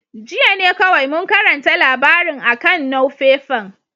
Jiya ne kowai mun karanta labarin a'kan nuefefan.